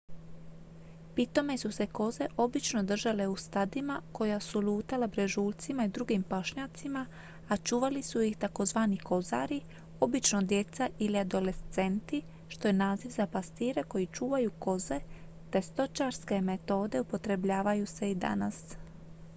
pitome su se koze obično držale u stadima koja su lutala brežuljcima i drugim pašnjacima a čuvali su ih tzv kozari obično djeca ili adolescenti što je naziv za pastire koji čuvaju koze te stočarske metode upotrebljavaju se i danas